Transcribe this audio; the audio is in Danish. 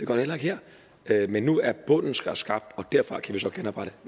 der heller ikke her men nu er bunden skabt og derfra kan vi så genoprette